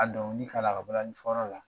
A dɔnkili k'a la, a ka balani fɔyɔrɔ la